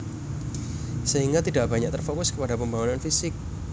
Sehingga tidak banyak terfokus kepada pembangunan fisik